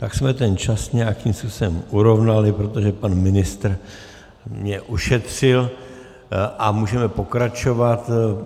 Tak jsme ten čas nějakým způsobem urovnali, protože pan ministr mi ušetřil, a můžeme pokračovat.